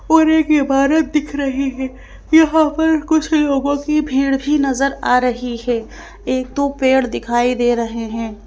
और एक इमारत दिख रही है यहां पर कुछ लोगों की भीड़ भी नजर आ रही है एक दो पेड़ दिखाई दे रहे हैं।